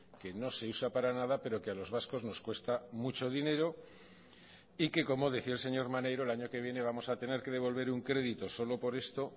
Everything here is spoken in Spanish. que no se usa para nada pero que a los vascos nos cuesta mucho dinero y que como decía el señor maneiro el año que viene vamos a tener que devolver un crédito solo por esto